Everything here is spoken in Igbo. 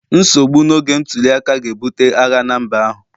nsogbu n'oge ntuli aka ga-ebute agha na mba ahụ